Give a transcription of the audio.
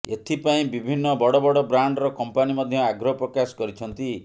ଏଥିପାଇଁ ବିଭିନ୍ନ ବଡ଼ବଡ଼ ବ୍ରାଣ୍ଡର କମ୍ପାନୀ ମଧ୍ୟ ଆଗ୍ରହ ପ୍ରକାଶ କରିଛନ୍ତି